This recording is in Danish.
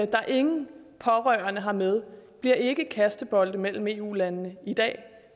der ingen pårørende har med bliver ikke kastebolde mellem eu lande i dag